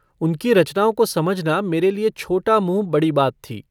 उनकी रचनाओं को समझना मेरे लिए छोटा मुँह बड़ी बात थी।